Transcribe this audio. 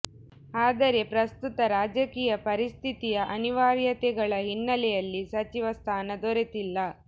ಆದರೆ ಪ್ರಸ್ತುತ ರಾಜಕೀಯ ಪರಿಸ್ಥಿತಿಯ ಅನಿವಾರ್ಯತೆಗಳ ಹಿನ್ನೆಲೆಯಲ್ಲಿ ಸಚಿವ ಸ್ಥಾನ ದೊರೆತಿಲ್ಲ